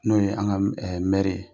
N'o ye an ka mɛri ye